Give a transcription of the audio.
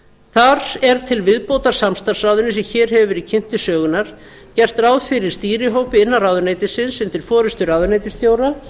þar er til viðbótar samstarfsráðinu sem hér hefur verið kynnt til sögunnar gert ráð fyrir stýrihópi innan ráðuneytisins undir forystu ráðuneytisstjóra